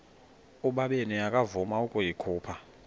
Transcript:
ubabini akavuma ukuyikhupha